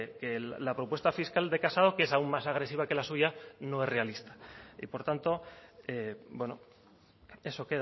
que la propuesta fiscal de casado que es aún más agresiva que la suya no es realista y por tanto eso